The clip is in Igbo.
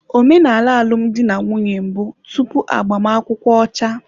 Omenala alụmdi na nwunye mbụ tupu agbamakwụkwọ ọcha.